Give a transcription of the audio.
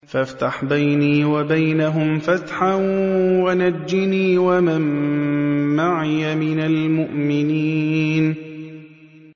فَافْتَحْ بَيْنِي وَبَيْنَهُمْ فَتْحًا وَنَجِّنِي وَمَن مَّعِيَ مِنَ الْمُؤْمِنِينَ